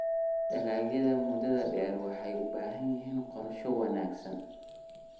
Dalagyada muddada-dheer waxay u baahan yihiin qorshe wanaagsan.